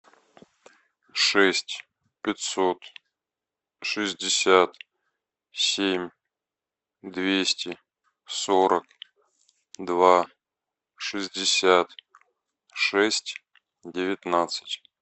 шесть пятьсот шестьдесят семь двести сорок два шестьдесят шесть девятнадцать